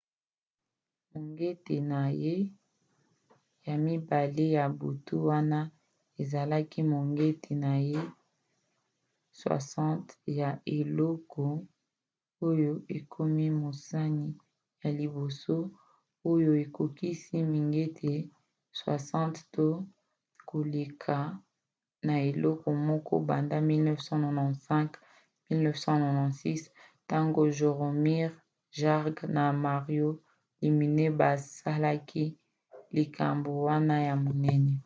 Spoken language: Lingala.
mongete na ye ya mibale ya butu wana ezalaki mongete na ye 60 ya eleko oyo akomi mosani ya liboso oyo akotisi mingete 60 to koleka na eleko moko banda 1995-96 ntango jaromir jagr na mario lemieux basalaki likambo wana ya monene